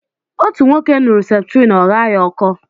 Otú nwoke ṅuru septrin ọ ghaa ya ọkọ